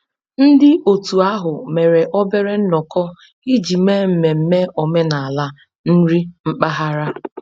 Ndị otu ahụ mere obere nnọkọ iji mee mmemme omenala nri mpaghara